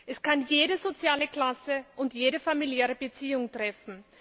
Es kann jede soziale Klasse und jede familiäre Beziehung treffen.